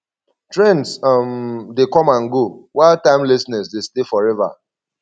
trends um dey come and go while timelessness dey stay forever